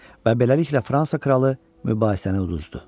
Və beləliklə Fransa kralı mübahisəni uduzdu.